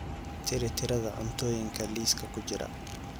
tiri tirada cuntooyinka liiska ku jira